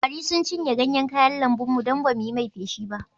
Kwari sun cinye ganyen kayan lambun mu don ba mu yi mai feshi ba